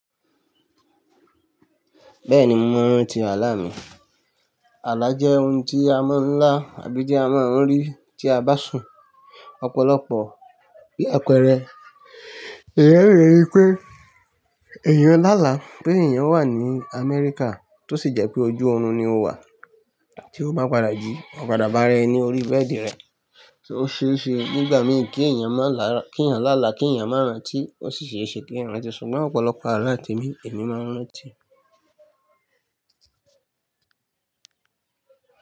Bẹ́ẹ̀ni mo máa ń rántí àlá mi. Àlá jẹ́ ohun tí a máa ń lá àbí tí a máa ń rí tí a bá sùn. Ọ̀pọ̀lọpọ̀ bí àpẹẹrẹ, èèyàn ó ri wípé èèyàn lálàá, pé èèyàn wà ní Amẹ́ríkà tó sì jẹ́ pé ojú oorun ni o wà, tí ó bá padà jí, ó padà bára ẹ ní orí bẹ́ẹ̀dì rẹ̀, tòò ó ṣeéṣe nígbà míì kí èèyàn má lá k'èèyàn lálàá, kí èèyàn má rántí ó sì ṣeéṣe kí èèyàn rántí, ṣùgbọ́n ọ̀pọ̀lọpọ̀ àlá tèmi Èmi máa ń rántí.